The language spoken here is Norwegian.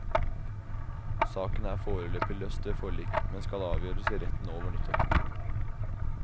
Saken er foreløpig løst ved forlik, men skal avgjøres i retten over nyttår.